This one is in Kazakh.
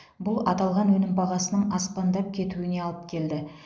бұл аталған өнім бағасының аспандап кетуіне алып келді